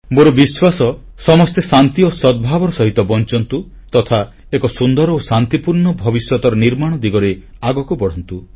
ମୋର ବିଶ୍ୱାସ ସମସ୍ତେ ଶାନ୍ତି ଓ ସଦ୍ଭାବର ସହିତ ବଂଚନ୍ତୁ ତଥା ଏକ ସୁନ୍ଦର ଓ ଶାନ୍ତିପୂର୍ଣ୍ଣ ଭବିଷ୍ୟତର ନିର୍ମାଣ ଦିଗରେ ଆଗକୁ ବଢ଼ନ୍ତୁ